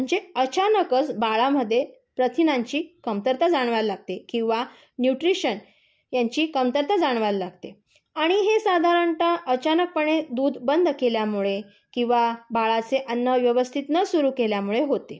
म्हणजे अचानकच बाळामध्ये प्रथिनांची कमतरता जाणवायला लागते. किंवा न्यूट्रिशन यांची कमतरता जाणवायला लागते. आणि हे साधारणतः अचानकपणे दूध बंद केल्यामुळे किंवा बाळाचे अन्न व्यवस्थित न सुरू केल्यामुळे होते.